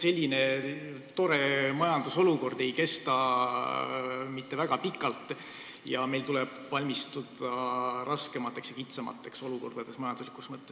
Selline tore majandusolukord ei kesta mitte väga pikalt ja meil tuleb valmistuda raskemateks ja kitsamateks oludeks majanduslikus mõttes.